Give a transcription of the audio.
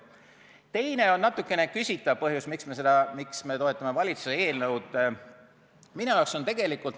Teine põhjus, miks me toetame valitsuse eelnõu, on natuke küsitav.